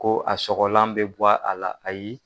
Ko a sɔgɔlan bɛ bɔ a la ayi.